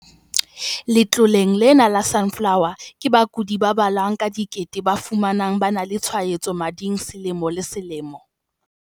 Letloleng lena la Sunflower, ke bakudi ba balwang ka dikete ba fumanwang ba na le tshwaetso mading selemo le selemo.